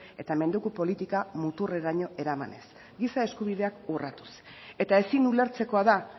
eta mendeku politika muturreraino eramanez giza eskubideak urratuz eta ezin ulertzekoa da